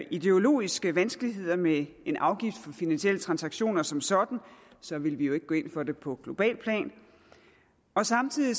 ideologiske vanskeligheder med en afgift på finansielle transaktioner som sådan så ville vi jo ikke gå ind for det på globalt plan og samtidig